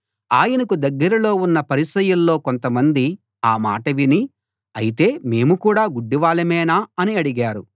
ఆయనకు దగ్గరలో ఉన్న పరిసయ్యుల్లో కొంత మంది ఆ మాట విని అయితే మేము కూడా గుడ్డివాళ్ళమేనా అని అడిగారు